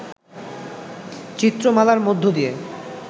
চিত্রমালার মধ্য দিয়ে